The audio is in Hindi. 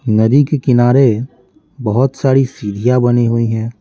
नदी के किनारे बहुत सारी सीढ़ियाँ बनी हुई हैं।